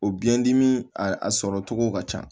O biyɛn dimi a sɔrɔ cogo ka ca